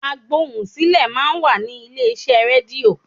Agbohùnsílẹ̀ máa ń wà ní ilé iṣẹ́ rédíò.